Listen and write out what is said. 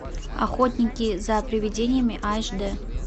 охотники за привидениями аш дэ